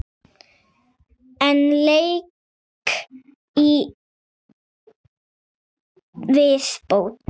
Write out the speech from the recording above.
Einn leik í viðbót.